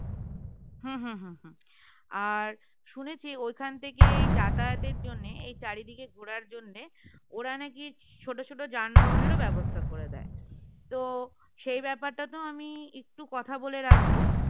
হম হম হম আর শুনেছি ঐখান থেকেই যাতায়াতের জন্য এই চারিদিকে ঘোরার জন্য ওরা নাকি ছোট ছোট যানবাহনের ও ব্যবস্থা করে দেয় তো সেই ব্যাপারটা তো আমি একটু কথা বলে রাখবো